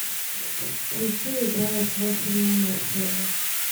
включи играя с вашими эмоциями